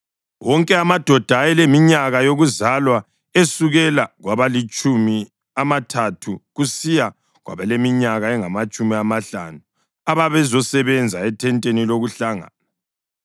Wonke amadoda ayeleminyaka yokuzalwa esukela kwabalamatshumi amathathu kusiya kwabaleminyaka engamatshumi amahlanu ababezosebenza ethenteni lokuhlangana,